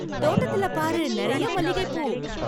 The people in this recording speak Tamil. தோட்டத்தில பாரு நிறைய மல்லிகைப்பூ!